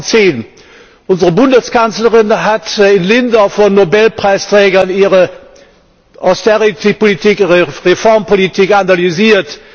2010. Unsere Bundeskanzlerin hat in Lindau vor Nobelpreisträgern ihre Austeritätspolitik, ihre Reformpolitik analysiert.